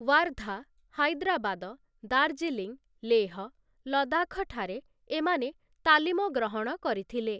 ୱାର୍ଦ୍ଧା, ହାଇଦ୍ରାବାଦ, ଦାର୍ଜିଲିଂ, ଲେହ, ଲଦାଖଠାରେ ଏମାନେ ତାଲିମ ଗ୍ରହଣ କରିଥିଲେ ।